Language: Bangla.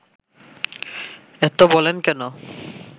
এত বলেন কেন